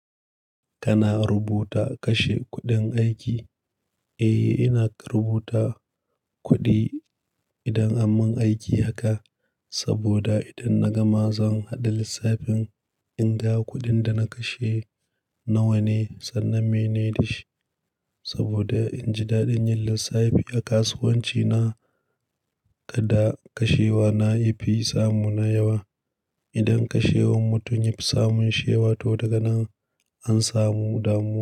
Kana rubuta kashe kuɗin aiki? Eh, ina rubuta kuɗi idan aman aiki haka. Saboda idan na gama zan haɗa lissafin in ga kuɗin da na kashe nawa ne sannan mene da shi. Saboda in ji daɗin yin lissafi a kasuwanci na, kada kashewa na ya fi samu na yawa. Idan kashewan mutum ya fi samun shewa to daga nan an samu damu.